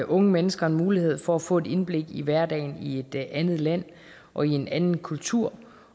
unge mennesker mulighed for at få et indblik i hverdagen i et andet land og i en anden kultur